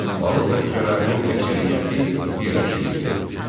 Balıq və təkələrin əksəriyyəti birləşdirildi.